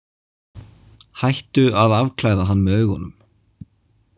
Hættu að afklæða hann með augunum!